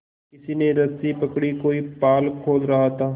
किसी ने रस्सी पकड़ी कोई पाल खोल रहा था